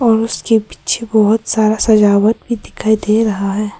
और उसके पीछे बहोत सारा सजावट भी दिखाई दे रहा है।